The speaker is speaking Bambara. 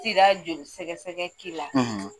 joli sɛgɛ-sɛgɛ k'i la